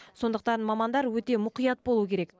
сондықтан мамандар өте мұқият болу керек